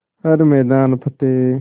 हर मैदान फ़तेह